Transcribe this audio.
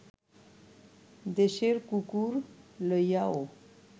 দেশের কুকুর লইয়াও